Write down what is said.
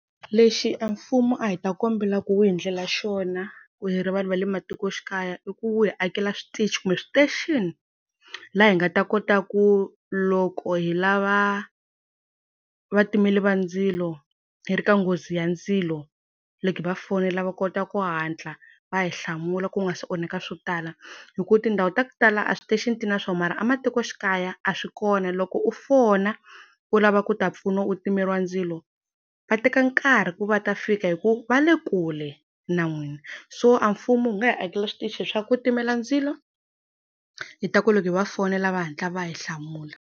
Lexi a mfumo a hi ta kombela ku wu hi ndlela xona ku hi ri vanhu va le matikoxikaya, i ku wu hi akela switichi kumbe station laha hi nga ta kota ku loko hi lava vatimeli va ndzilo hi ri ka nghozi ya ndzilo, loko hi va fonela va kota ku hatla va hi hlamula ku nga se onheka swo tala. Hi ku tindhawu ta ku tala a station-i ti na swona mara, ematikoxikaya a swi kona loko u fona u lava ku ta pfuniwa u timeriwa ndzilo va teka nkarhi ku va ta fika hi ku va le kule na n'wina so a mfumo wu nga hi akela switichi swa ku timela ndzilo hi ta ku loko hi va fonela va hatla va hi hlamula.